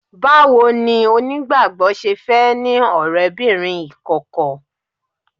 Báwo ni onígbàgbọ́ ṣe fẹ́ ní ọ̀rẹ́bìnrin ìkọ̀kọ̀?